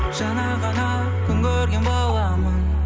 жаңа ғана күн көрген баламын